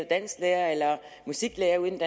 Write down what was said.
dansklærer eller musiklærer ude i den